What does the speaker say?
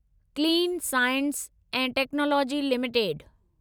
clean science ऐं technology limited